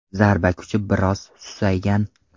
Zarba kuchi biroz susaygan.